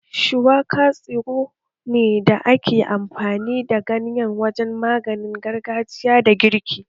Shuwaka tsiro ne da ake amfani da ganyen sa wajen maganin gargajiya da girki